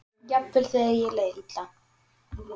Jafnvel þegar þér leið illa.